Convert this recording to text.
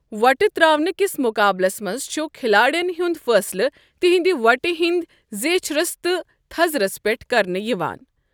وۄٹہٕ ترٛاونہِ کِس مقابلَس منٛز چھُ کھلاڑٮ۪ن ہُنٛد فٲصلہٕ تہنٛدِ وۄٹہِ ہنٛدۍ زیچھرس تہٕ تھزرَس پٮ۪ٹھ کرنہٕ یِوان۔